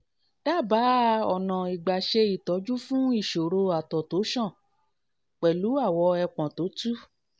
dábàá ọ̀nà ìgbà ṣe ìtọ́jú fún ìṣòro àtọ̀ tó ṣàn pẹ̀lú awọ ẹpọ̀n tó tú